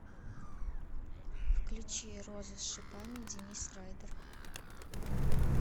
включи роза с шипами денис райдер